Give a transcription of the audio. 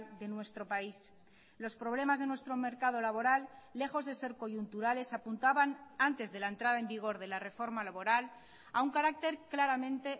de nuestro país los problemas de nuestro mercado laboral lejos de ser coyunturales apuntaban antes de la entrada en vigor de la reforma laboral a un carácter claramente